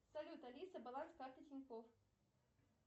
салют алиса баланс карты тинькофф